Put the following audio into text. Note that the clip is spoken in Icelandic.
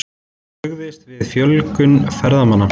Brugðist við fjölgun ferðamanna